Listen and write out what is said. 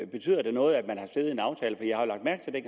betyder det noget at man